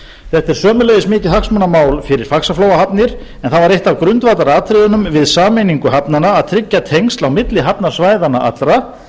þetta er sömuleiðis mikið hagsmunamál fyrir faxaflóahafnir en það var eitt af grundvallaratriðunum við sameiningu hafnanna að tryggja tengsl á milli hafnasvæðanna allra